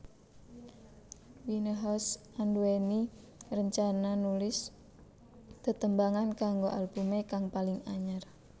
Winehouse anduwèni rencana nulis tetembangan kanggo albumé kang paling anyar